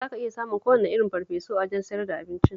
Za ka iya samun kowane irin farfesu a wajen sayar da abincin